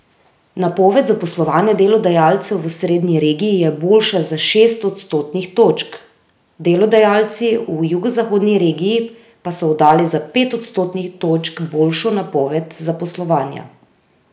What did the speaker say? Napoved zaposlovanja delodajalcev v osrednji regiji je boljša za šest odstotnih točk, delodajalci v jugozahodni regiji pa so oddali za pet odstotnih točk boljšo napoved zaposlovanja.